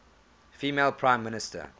female prime minister